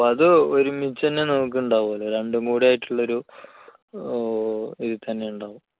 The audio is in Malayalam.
അത് ഒരുമിച്ചുതന്നെയേ നോക്കുന്നുണ്ടാവുകയുള്ളൂ. രണ്ടും കൂടെ ആയിട്ടുള്ള ഒരു ഏർ ഇതിൽത്തന്നെ ഉണ്ടാകും.